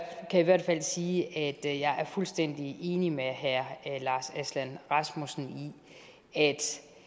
kan i hvert fald sige at er fuldstændig enig med herre lars aslan rasmussen i at